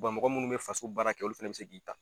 Mɔgɔ minnu me Faso baara kɛ olu fana bi se k'i ta.